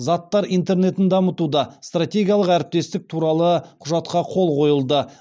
заттар интернетін дамытуда стратегиялық әріптестік туралы құжатқа қол қойылды